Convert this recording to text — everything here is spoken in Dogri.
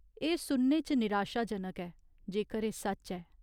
एह् सुनने च निराशाजनक ऐ, जेकर एह् सच्च ऐ।